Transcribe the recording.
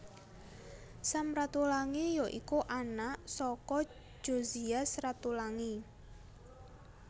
Sam Ratulangi ya iku anak saka Jozias Ratulangi